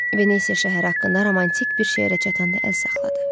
Venesia şəhəri haqqında romantik bir şeirə çatanda əl saxladı.